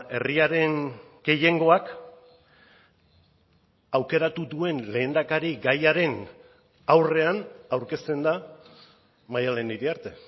herriaren gehiengoak aukeratu duen lehendakarigaiaren aurrean aurkezten da maddalen iriarte